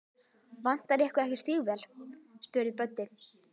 Vantar ykkur ekki stígvél? spurði Böddi.